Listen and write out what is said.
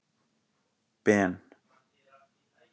Ben